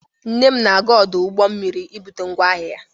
Nne m na-aga ọdụ ụgbọ mmiri ibute ngwa ahịa ya.